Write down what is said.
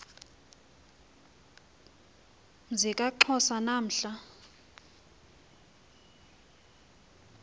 mzi kaxhosa namhla